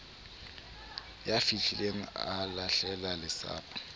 ya fihlileng a lahlela lesapo